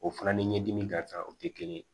O fana ni ɲɛdimi ka kan o tɛ kelen ye